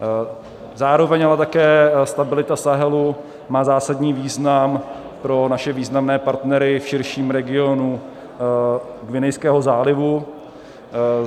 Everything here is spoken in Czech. Zároveň ale také stabilita Sahelu má zásadní význam pro naše významné partnery v širším regionu Guinejského zálivu.